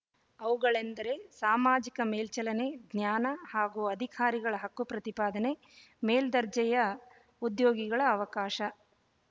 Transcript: ಅವುಗಳೆಂದರೆ ಸಾಮಾಜಿಕ ಮೇಲ್ಚಲನೆ ಜ್ಞಾನ ಹಾಗೂ ಅಧಿಕಾರಗಳ ಹಕ್ಕು ಪ್ರತಿಪಾದನೆ ಮೇಲುದರ್ಜೆಯ ಉದ್ಯೋಗಿಗಳ ಅವಕಾಶ